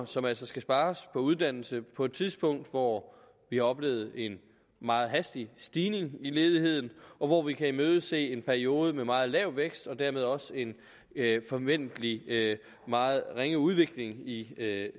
som altså skal spares på uddannelse på et tidspunkt hvor vi har oplevet en meget hastig stigning i ledigheden og hvor vi kan imødese en periode med meget lav vækst og dermed også en forventeligt meget ringe udvikling i